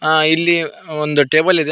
ಆ ಇಲ್ಲಿ ಒಂದು ಟೇಬಲ್ ಇದೆ.